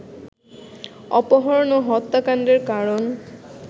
অপহরণ ও হত্যাকাণ্ডের কারণ